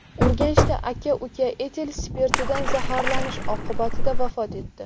Urganchda aka-uka etil spirtidan zaharlanish oqibatida vafot etdi.